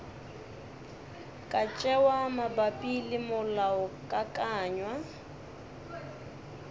ka tšewa mabapi le molaokakanywa